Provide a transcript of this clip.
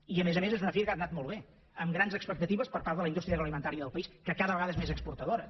i a més a més és una fira que ha anat molt bé amb grans expectatives per part de la indústria agroalimentària del país que cada vegada és més exportadora